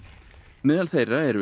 meðal þeirra eru